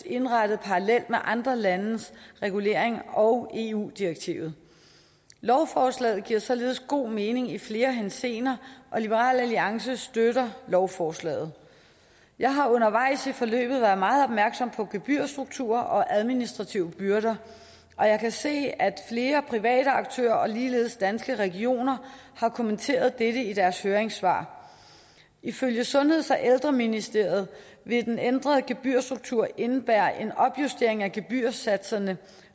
indrettet parallelt med andre landes regulering og eu direktivet lovforslaget giver således god mening i flere henseender og liberal alliance støtter lovforslaget jeg har undervejs i forløbet være meget opmærksom på gebyrstrukturer og administrative byrder og jeg kan se at flere private aktører og ligeledes danske regioner har kommenteret dette i deres høringssvar ifølge sundheds og ældreministeriet vil den ændrede gebyrstruktur indebære en opjustering af gebyrsatserne